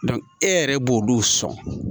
e yɛrɛ b'olu sɔn